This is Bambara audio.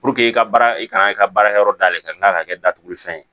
i ka baara i kan i ka baarakɛyɔrɔ da yɛlɛ ka kila ka kɛ datuguli fɛn ye